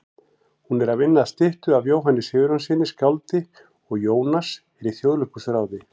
Hún er að vinna að styttu af Jóhanni Sigurjónssyni skáldi og Jónas er í Þjóðleikhúsráði.